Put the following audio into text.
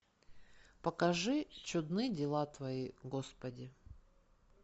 покажи чудны дела твои господи